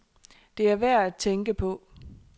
Det er værd at tænke på.